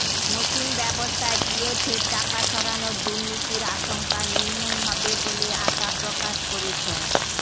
নতুন ব্যবস্থায় পিএফের টাকা সরানোর দুর্নীতির আশঙ্কা নির্মূল হবে বলে আশা প্রকাশ করেছেন